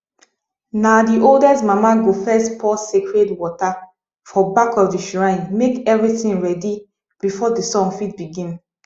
na the oldest mama go first pour sacred water for back of the shrine make everything ready before the song fit begin